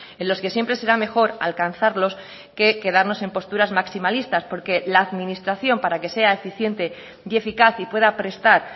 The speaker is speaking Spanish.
en los que siempre será mejor alcanzarlos que quedarnos en posturas maximalistas porque la administración para que sea eficiente y eficaz y pueda prestar